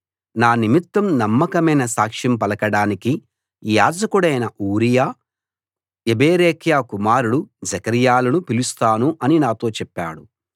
నా నిమిత్తం నమ్మకమైన సాక్ష్యం పలకడానికి యాజకుడైన ఊరియా యెబెరెక్యా కుమారుడు జెకర్యాలను పిలుస్తాను అని నాతో చెప్పాడు